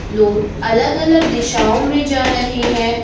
लोग अलग अलग दिशाओं में जा रहे हैं।